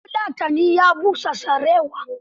Bafulatanin ya busa sarewa.